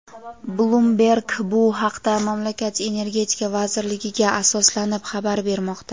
"Bloomberg" bu haqda mamlakat Energetika vazirligiga asoslanib xabar bermoqda.